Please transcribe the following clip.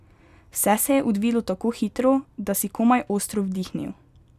Vse se je odvilo tako hitro, da si komaj ostro vdihnil.